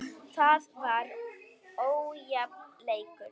Það var ójafn leikur.